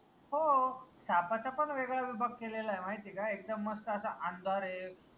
हो सापाचा पन वेगळा विभाग केलेलाय माहितीय का एकदम मस्त असा अंधार आय